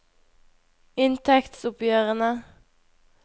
inntektsoppgjørene